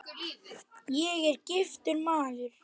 Ég er giftur maður.